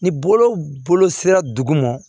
Ni bolo sera dugu ma